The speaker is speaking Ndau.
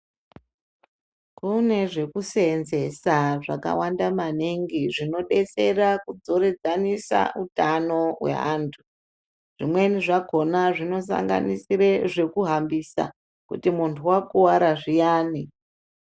Kune zvekuseenzesa zvakawanda maningi zvinodetsera kudzoredzanisa utano hweantu. Zvimweni zvakona zvinosanganisire zvekuhambisa kuti muntu wakuvara zviyani.